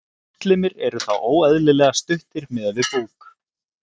Útlimir eru þá óeðlilega stuttir miðað við búk.